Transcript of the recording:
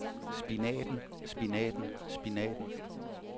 spinaten spinaten spinaten